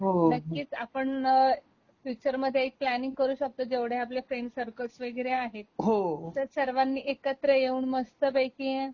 नक्कीच आपण फ्युचरमधे एक प्लॅनिंग करू शकतो जेवढ आपले फ्रेंड्स सर्कल वैगरे आहे तर सर्वांनी एकत्र येऊन मस्त पैकी